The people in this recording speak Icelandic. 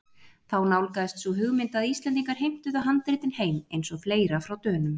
Þá nálgaðist sú hugmynd að Íslendingar heimtuðu handritin heim- eins og fleira frá Dönum.